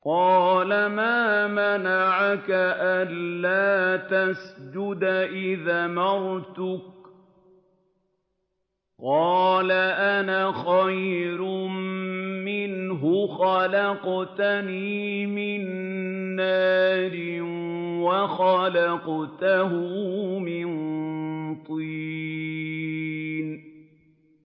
قَالَ مَا مَنَعَكَ أَلَّا تَسْجُدَ إِذْ أَمَرْتُكَ ۖ قَالَ أَنَا خَيْرٌ مِّنْهُ خَلَقْتَنِي مِن نَّارٍ وَخَلَقْتَهُ مِن طِينٍ